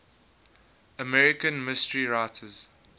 american mystery writers